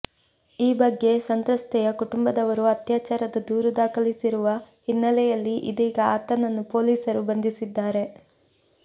ಈ ಬಗ್ಗೆ ಸಂತ್ರಸ್ತೆಯ ಕುಟುಂಬದವರು ಅತ್ಯಾಚಾರದ ದೂರು ದಾಖಲಿಸಿರುವ ಹಿನ್ನಲೆಯಲ್ಲಿ ಇದೀಗ ಆತನನ್ನು ಪೊಲೀಸರು ಬಂಧಿಸಿದ್ದಾರೆ